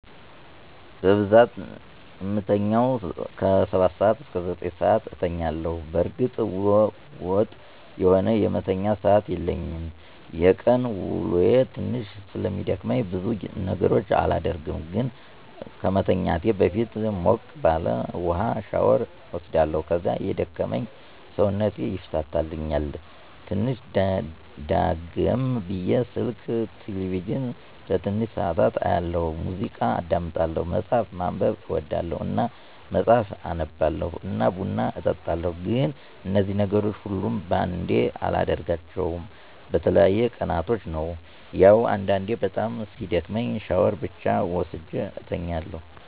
በብዛት እምተኛዉ 7-9 ሰዓት አተኛለሁ። በእርግጥ ወጥ የሆነ የመተኛ ሰዓት የለኝም። የቀን ወሎየ ትንሽ ስለሚያደክመኝ ብዙ ነገሮች አላደርግም ግን ከመተኛቴ በፊት ሞቅ ባለ ዉሀ ሻወር እወስዳለሁ ከዛ የደከመዉ ሰዉነቴ ይፍታታልኛል እና ትንሽ ጋደም ብየ፣ ስልክ /ቴሌቪዥን ለትንሽ ሰዓት አያለሁ፣ ሙዚቃ አዳምጣለሁ፣ መፅሀፍ ማንበብ አወዳለሁ እና መፅሀፍ አነባለሁ እና ቡና እጠጣለሁ ግን እነዚን ነገሮች ሁሉንም በአንዴ አላደርጋቸዉ በተለያየ ቀናቶች ነዉ። ያዉ አንዳንዴ በጣም ሲደክመኝ ሻወር ብቻ ወስጀ እተኛለሁ።